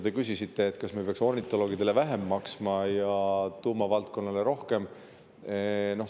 Te küsisite, kas me peaks ornitoloogidele maksma vähem ja tuumavaldkonnale rohkem.